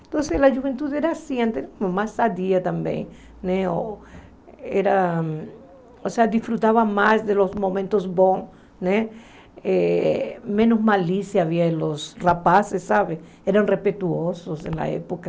Então a juventude era assim antes, mais sadia também, ou seja, gostava mais dos momentos bons, né eh menos malícia havia entre os rapazes sabe, eram mais respeitosos na época.